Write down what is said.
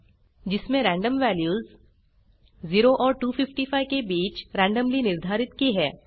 जिसमें random values 0 और 255 के बीच रेन्डम्ली निर्धारित की हैं